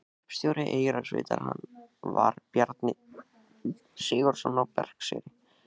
Hreppstjóri Eyrarsveitar var Bjarni Sigurðsson á Berserkseyri.